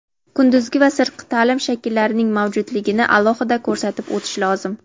kunduzgi va sirtqi taʼlim shakllarining mavjudligini alohida ko‘rsatib o‘tish lozim.